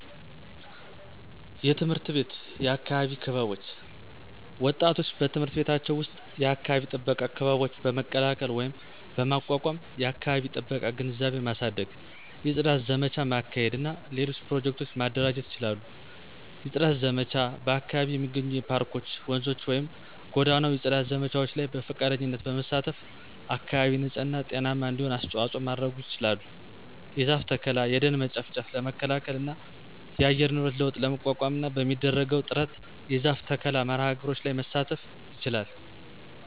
_የትምህርት ቤት የአካባቢ ክበቦች ወጣቶች በትምህርት ቤቶቻቸው ዉስጥ የአካባቢ ጥበቃ ክበቦች በመቀላቀል ወይም በማቋቋም የአከባቢ ጥበቃ ግንዛቤ ማሳደግ፣ የጽዳት ዘመቻ ማካሄድ እና ሌሎች ኘሮጀክቱ ማደራጀት ይችላሉ። የጽዳት ዘመቻ በአካባቢው የሚገኙ የፓርኮች፣፧ ወንዞችን ወይም ጎዳናው የጽዳት ዘመቻዎች ላይ በፈቃደኝነት በመሳተፍ አካባቢ ንጽህና ጤናማ እንዲሆን አስተዋጽኦ ማድረጉ ይችላል። የዛፍ ተከላ። የደን መጨፍጨፍ ለመከላከል እና የአየር ንብረት ለውጥ ለመቋቋምና በሚደረገው ጥረት የዛፍ ተከላ መርሐ ግብሮች ላይ መሳተፍ ይችላል